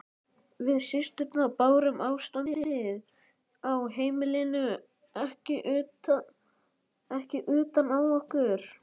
Við systurnar bárum ástandið á heimilinu ekki utan á okkur.